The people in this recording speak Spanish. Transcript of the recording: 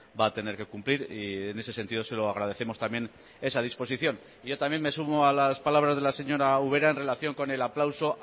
va a tener que cumplir y en ese sentido se lo agradecemos también esa disposición yo también me sumo a las palabras de la señora ubera en relación con el aplauso